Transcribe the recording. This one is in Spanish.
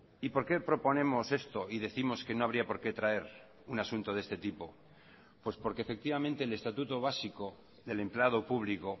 y por qué proponemos esto y décimos que no habría por qué traer un asunto de este tipo pues porque efectivamente el estatuto básico del empleado público